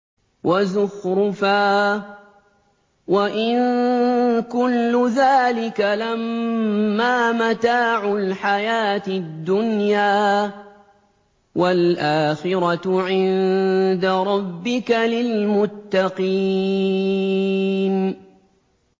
وَزُخْرُفًا ۚ وَإِن كُلُّ ذَٰلِكَ لَمَّا مَتَاعُ الْحَيَاةِ الدُّنْيَا ۚ وَالْآخِرَةُ عِندَ رَبِّكَ لِلْمُتَّقِينَ